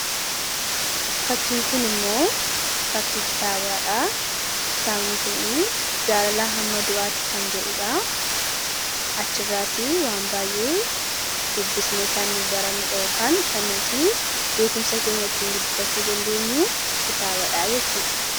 Fakkiin kun immoo fakkii kitaabati. kun jaalalaa hamma du'aatti kan jedhudha achiirraati waan baay'ee dubbisni kan nu bara nu beekumsa keenyattiin guddifachuu dandeenyu kitaabadhaa jechuudha.